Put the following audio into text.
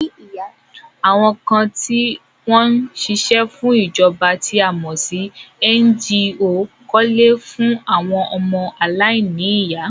Àwọn kan ti wọn ò ṣíṣe fún ìjọba tí a mọ̀ sí NGO kọ́ ilé fún àwọn ọmọ aláìní ìyá